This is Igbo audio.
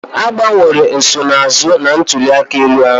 Agbanwere nsonaazụ na ntuli aka ahụ